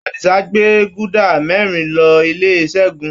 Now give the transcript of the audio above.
Adisa gbé guda mẹ́rin lọ ilé Segun.